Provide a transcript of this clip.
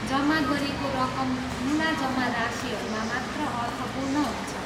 जम्मा गरिएको रकम ठुला जम्मा राशिहरूमा मात्र अर्थपूर्ण हुन्छ।